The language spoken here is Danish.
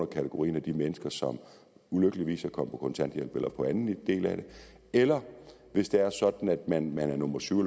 kategori af mennesker som ulykkeligvis er kommet på kontanthjælp eller andet eller hvis det er sådan at man er nummer syv